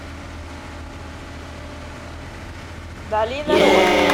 долина роз